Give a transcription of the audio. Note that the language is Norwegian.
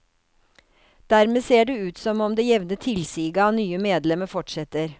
Dermed ser det ut som om det jevne tilsiget av nye medlemmer fortsetter.